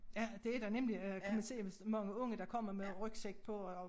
Ja det der nemlig øh kan man se hvis mange unge der kommer med rygsæk på og